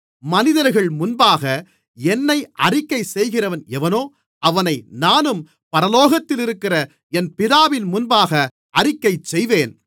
மனிதர்கள் முன்பாக என்னை அறிக்கைசெய்கிறவன் எவனோ அவனை நானும் பரலோகத்திலிருக்கிற என் பிதாவின் முன்பாக அறிக்கைசெய்வேன்